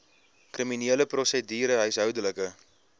kriminele prosedure huishoudelike